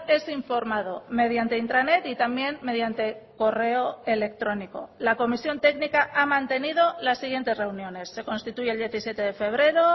es informado mediante intranet y también mediante correo electrónico la comisión técnica ha mantenido las siguientes reuniones se constituye el diecisiete de febrero